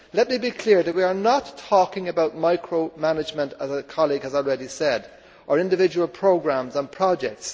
Let me be clear that we are not talking about micro management, as a colleague has already said, or individual programmes and projects.